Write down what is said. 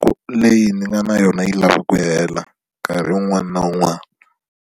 ku leyi ni nga na yona yi lava ku hela nkarhi wun'wana na wun'wana.